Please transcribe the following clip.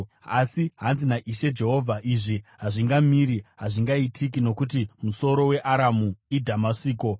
Asi zvanzi naIshe Jehovha: “ ‘Izvi hazvingamiri, hazvingaitiki, nokuti musoro weAramu iDhamasiko,